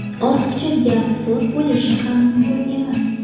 Ortiqcha gap-so‘z bo‘lishi ham mumkin emas.